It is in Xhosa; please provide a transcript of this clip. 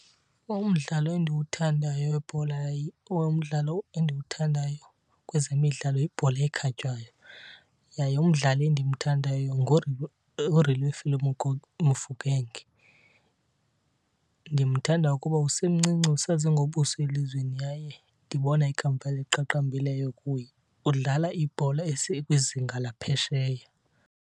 Umdlalo endiwuthandayo webhola or umdlalo endiwuthandayo kwezemidlalo yibhola ekhatywayo. Yaye umdlali endimthandayo nguRelebohile Mofokeng. Ndimthanda kuba usemncinci usaze ngobuso elizweni yaye ndibona ikamva eliqaqambileyo kuye. Udlala ibhola eseyikwizinga laphesheya.